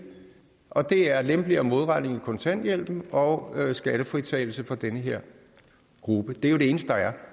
og det er lempeligere modregning i kontanthjælpen og skattefritagelse for den her gruppe det er det eneste der er